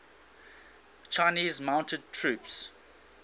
chinese mounted troops